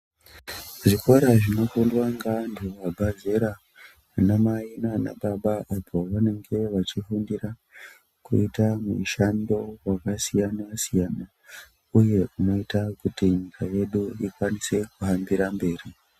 Zvikora zvinofundwa ngeantu vabva zera, vanamai naanababa apo vanenge vachifundira kuita mushando wakasiyana-siyana iyo unoita kuti nyika yedu ikwanise kuhambira mberi.